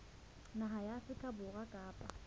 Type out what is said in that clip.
naha ya afrika borwa kapa